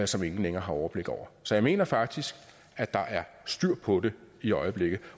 som ingen længere har overblik over så jeg mener faktisk at der er styr på det i øjeblikket